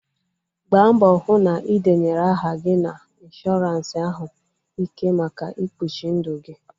Gbaa mbọ hụ na ị denyere aha gị na ịnshọransị ahụ ike maka ikpuchi ndụ gi